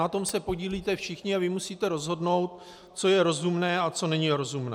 Na tom se podílíte všichni a vy musíte rozhodnout, co je rozumné a co není rozumné.